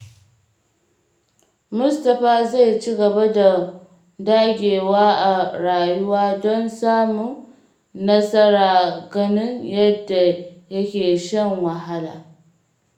Mustapha zai ci gaba da dagewa a rayuwa don samun nasara ganin yadda yake shan wahala.